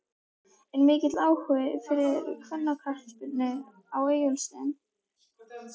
Er mikill áhugi fyrir kvennaknattspyrnu á Egilsstöðum?